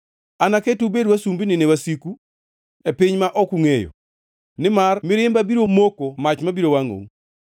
Anaketu ubed wasumbini ne wasiku e piny ma ok ungʼeyo, nimar mirimba biro moko mach mabiro wangʼou.”